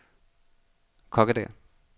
Kokkedal